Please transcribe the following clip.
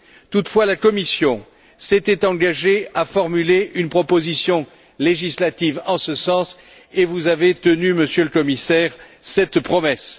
Toutefois, la Commission s'était engagée à formuler une proposition législative en ce sens et vous avez tenu, Monsieur le Commissaire, cette promesse.